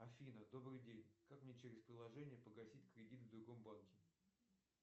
афина добрый день как мне через приложение погасить кредит в другом банке